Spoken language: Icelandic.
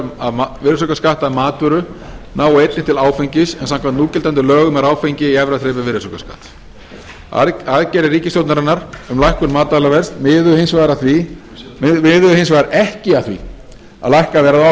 lækkun á virðisaukaskatti af matvöru nái einnig til áfengis en samkvæmt núgildandi lögum er áfengi í efra þrepi virðisaukaskatts aðgerðir ríkisstjórnarinnar um lækkun matvælaverðs miðuðu hins vegar ekki að því að lækka verð á